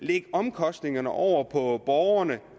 de omkostninger over på borgerne